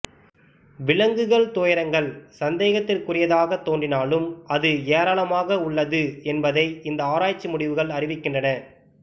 விலங்குகள் துயரங்கள் சந்தேகத்திற்குரியதாக தோன்றினாலும் அது ஏராளமாக உள்ளது என்பதை இந்த ஆராய்ச்சி முடிவுகள் அறிவிக்கின்றன